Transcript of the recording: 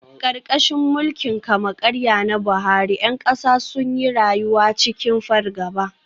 Karkashin mulkin kama-karya na Buhari, ’yan kasa sun yi rayuwa cikin fargaba.